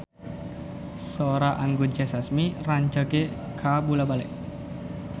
Sora Anggun C. Sasmi rancage kabula-bale